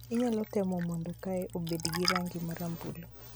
Inyalo timo mondo kae obed gi rangi marambulu